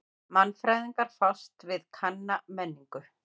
Mannfræðingar fást við kanna menningu.